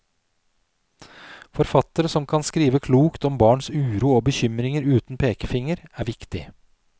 Forfattere som kan skrive klokt om barns uro og bekymringer uten pekefinger er viktig.